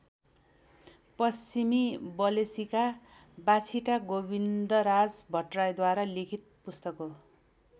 पश्चिमी बलेसीका बाछिटा गोविन्दराज भट्टराईद्वारा लिखित पुस्तक हो।